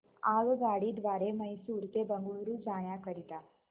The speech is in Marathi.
आगगाडी द्वारे मैसूर ते बंगळुरू जाण्या करीता